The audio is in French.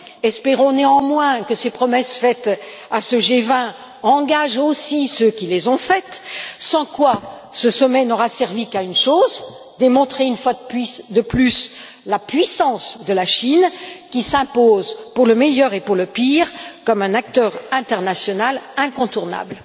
Espérons néanmoins que ces promesses formulées à ce G20 engagent aussi ceux qui les ont faites, sans quoi ce sommet n'aura servi qu'à une chose démontrer une fois de plus la puissance de la Chine, qui s'impose pour le meilleur et pour le pire, comme un acteur international incontournable.